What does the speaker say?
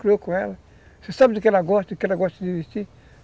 criou com Você sabe do que ela gosta, do que ela gosta de vestir.